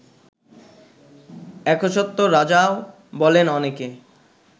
একচ্ছত্ব্য রাজাও বলেন অনেকে